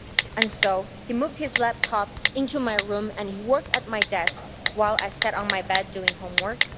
And so, he moved his laptop into my room and he worked at my desk while I sat on my bed doing homework.